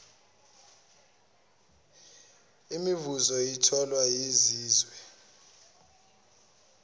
imivuzo etholwa yizizwe